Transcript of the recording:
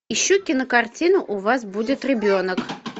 ищу кинокартину у вас будет ребенок